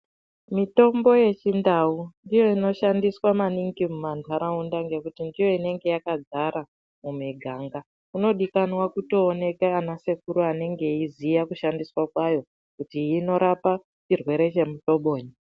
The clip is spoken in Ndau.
Mitombo yechindau ndiyo inoshandiswa maningi mumanharaunda ngekuti ndiyo inenge yakazara mumiganga kunodikana kutooneke ana sekuri anonga eiziya kushandiswa kwayo kuti inorapa chirwere chemuhlobonyi.